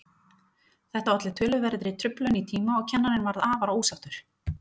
Þetta olli töluverðri truflun í tíma og kennarinn varð afar ósáttur.